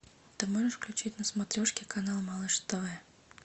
ты можешь включить на смотрешке канал малыш тв